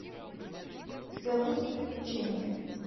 у тебя будет приключения